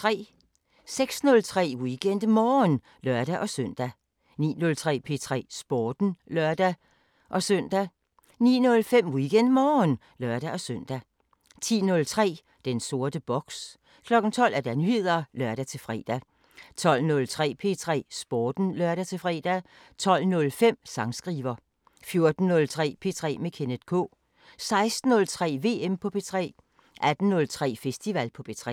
06:03: WeekendMorgen (lør-søn) 09:03: P3 Sporten (lør-søn) 09:05: WeekendMorgen (lør-søn) 10:03: Den sorte boks 12:00: Nyheder (lør-fre) 12:03: P3 Sporten (lør-fre) 12:05: Sangskriver 14:03: P3 med Kenneth K 16:03: VM på P3 18:03: Festival på P3